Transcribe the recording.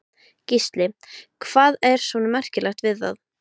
Gísli: Hvað er svona merkilegt við það?